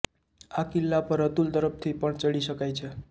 આ કિલ્લા પર અતુલ તરફથી પણ ચડી શકાય છે